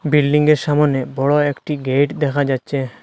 বিল্ডিংয়ের সামোনে বড় একটি গেট দেখা যাচ্ছে।